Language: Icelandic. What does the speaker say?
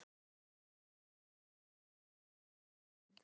Lillu og Rikku kom vel saman.